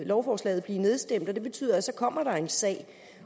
lovforslaget blive nedstemt og det betyder at så kommer der en sag